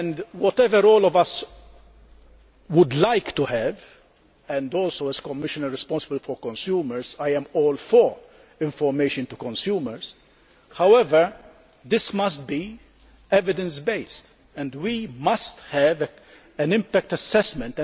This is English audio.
Whatever all of us would like to have and as Commissioner responsible for consumers, I am all for information to consumers this must, however, be evidence based and we must have an impact assessment.